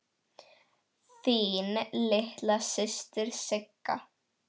Þín litla systir Sigga.